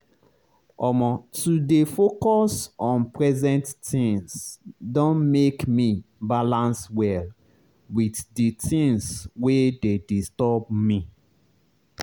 omo to dey focus on present things don make me balance well with the things wey dey disturb me.